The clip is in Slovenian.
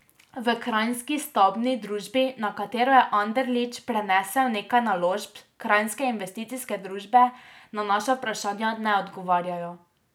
V Kranjski stavbni družbi, na katero je Anderlič prenesel nekaj naložb Kranjske investicijske družbe, na naša vprašanja ne odgovarjajo.